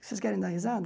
Vocês querem dar risada?